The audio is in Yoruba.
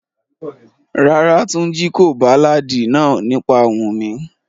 Rárá, Tunji ko baláàdi naa nipa Wumi.